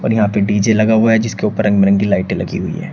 और यहाँ पे डी_जे लगा हुआ है जिसके ऊपर रंग बिरंगी लाइटे लगी हुई है।